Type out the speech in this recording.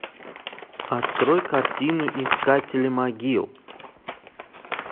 открой картину искатели могил